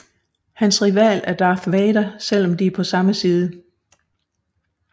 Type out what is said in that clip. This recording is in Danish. Hans rival er Darth Vader selv om de er på samme side